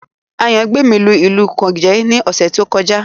Ayangbemi lu ìlù Gòjé ní ọ̀sẹ̀ tí ó kọjá